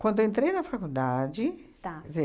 Quando eu entrei na faculdade, tá, quer dizer,